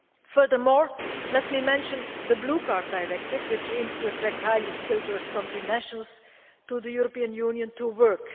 Furthermore, let me mention the Blue Card Directive, which aims to attract highly skilled third-country nationals to the European Union to work.